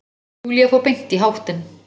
Júlía fór beint í háttinn.